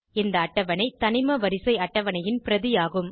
இந்த அட்டவணை தனிமவரிசை அட்டவணையின் பிரதி ஆகும்